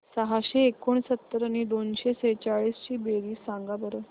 सहाशे एकोणसत्तर आणि दोनशे सेहचाळीस ची बेरीज सांगा बरं